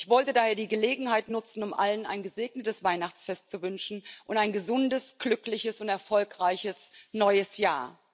Ich wollte daher die Gelegenheit nutzen, um allen ein gesegnetes Weihnachtsfest zu wünschen und ein gesundes, glückliches und erfolgreiches neues Jahr.